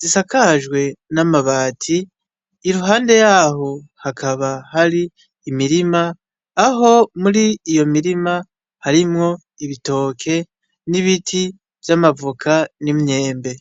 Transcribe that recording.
zisakajwe n'amabati iruhande yaho hakaba hari imirima aho muri iyo mirima harimwo ibitoke n'ibiti vy'amavoka n'imyembe.